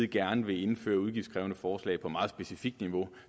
gerne vil indføre udgiftskrævende forslag på meget specifikt niveau